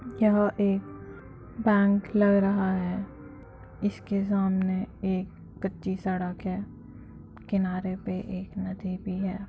यह एक बैंक लग रहा है सामने एक कच्ची सड़क है किनारे पे एक नदी भी है।